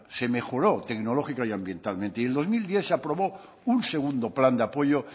se mejoró tecnológica y ambientalmente y en dos mil diez se aprobó un segundo plan de apoyo